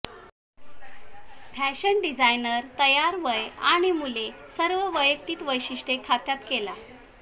fashion designer तयार वय आणि मुले सर्व वैयक्तिक वैशिष्ट्ये खात्यात केला